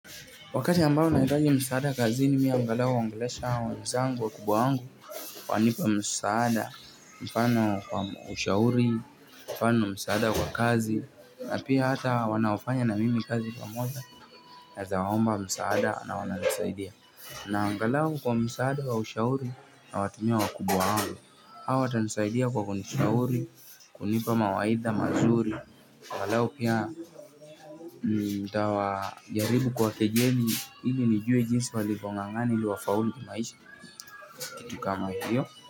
Wakati ambao naitaji msaada kazini mimi angalau uongelesha hawa wezangu wakubwa wangu wanipa msaada, mfano kwa ushauri, mfano msaada kwa kazi na pia hata wanaofanya na mimi kazi pamoja naweza waomba msaada na wananisaidia na angalau kwa msaada wa ushauri nawatumia wakubwa wangu hawa watanisaidia kwa kunishauri, kunipa mawaidha mazuri angalau pia nitawajaribu kuwakejeli ili nijue jinsi walivyong'ang'ana ili wafaulu kimaisha kitu kama hiyo.